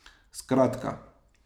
Skratka.